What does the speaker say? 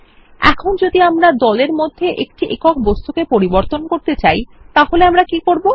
এখন যদি আমরা দল এর মধ্যে একটি একক বস্তুকে পরিবর্তন করতে চাই তাহলে আমরা কি করব160